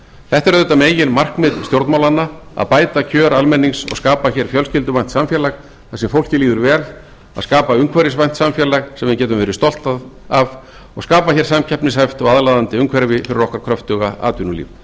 þetta er auðvitað meginmarkmið stjórnmálanna að bæta kjör almennings og skapa hér fjölskylduvænt samfélag þar sem fólki líður vel að skapa umhverfisvænt samfélag sem við getum verið stolt af og skapa hér samkeppnishæft og aðlaðandi umhverfi fyrir okkar kröftuga atvinnulíf